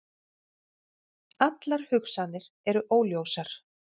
Allar hugsanir eru óljósar.